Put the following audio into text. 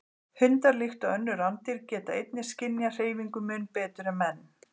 Hundar, líkt og önnur rándýr, geta einnig skynjað hreyfingu mun betur en menn.